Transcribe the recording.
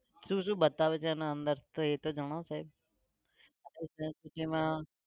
શું શું બતાવે છે એના અંદર તો એતો જણાવો સાહેબ